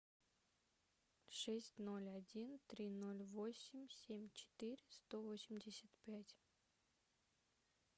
шесть ноль один три ноль восемь семь четыре сто восемьдесят пять